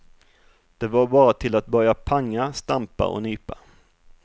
Det var bara till att börja panga, stampa och nypa.